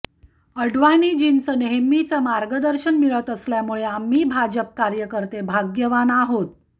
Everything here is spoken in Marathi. आडवाणीजींचं नेहमीच मार्गदर्शन मिळत असल्यामुळे आम्ही भाजप कार्यकर्ते भाग्यवान आहोत